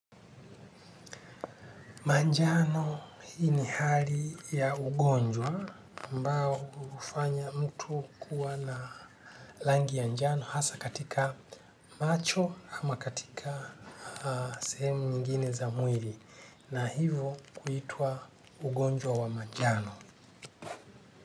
Manjano hii ni hali ya ugonjwa ambao hufanya mtu kuwa na langi ya njano hasa katika macho ama katika sehemu nyingine za mwili na hivo kuitwa ugonjwa wa manjano.